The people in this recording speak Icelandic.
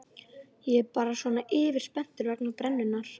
Ég er bara svona yfirspenntur vegna brennunnar.